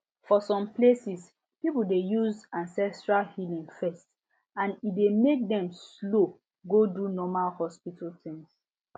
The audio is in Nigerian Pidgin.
for some places people dey use ancestral healing first and e dey make dem slow go do normal hospital things